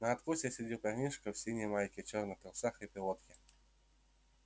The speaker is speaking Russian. на откосе сидел парнишка в синей майке чёрных трусах и пилотке